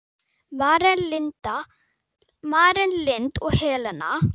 Maren Lind og Helena.